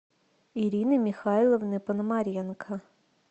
ирины михайловны пономаренко